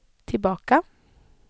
tillbaka